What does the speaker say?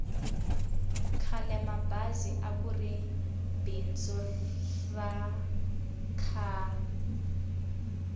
khalemabazi akuri bindzu ra kahl